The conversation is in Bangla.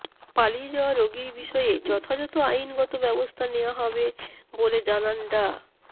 পালিয়ে যাওয়া রোগীর বিষয়ে যথাযথ আইনগত ব্যবস্থা নেওয়া হবে বলে জানান ডা